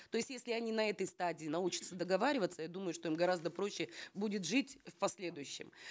то есть если они на этой стадии научатся договариваться я думаю что им гораздо проще будет жить в последующем